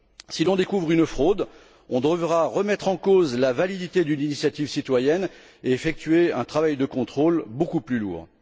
Si l'on découvre une fraude, on devra remettre en cause la validité d'une initiative citoyenne et effectuer un travail de contrôle beaucoup plus lourd.